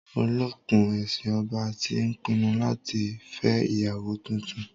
Olókùn-ẹṣin ọba ti pinnu láti fẹ́ ìyàwó tuntun.